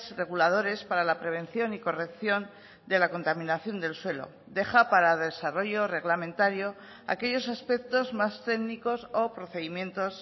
reguladores para la prevención y corrección de la contaminación del suelo deja para desarrollo reglamentario aquellos aspectos más técnicos o procedimientos